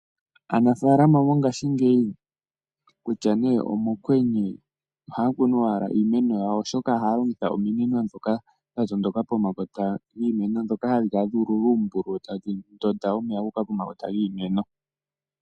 Aanafaalama mongashii ngeyi, kulya nee omokwenye ohayakunu owala iimeno yawo, oshoka ohaya longitha ominino dhoka dha tondoka pomakota dhoka gadhi kala dha ululwa uumbululu tadhi ndonda omeya guuka pomakota giimeno.